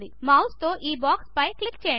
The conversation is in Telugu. మౌస్తో ఈ బాక్స్పై క్లిక్ చేయండి